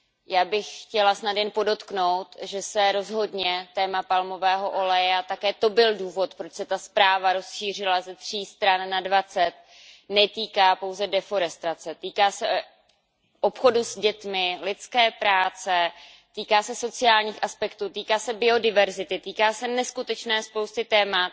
Já bych chtěla snad jen podotknout, že se rozhodně téma palmového oleje a také to byl důvod, proč se ta zpráva rozšířila ze tří stran na dvacet, netýká pouze odlesňování, týká se obchodu s dětmi, lidské práce, týká se sociálních aspektů, týká se biodiverzity, týká se neskutečné spousty témat.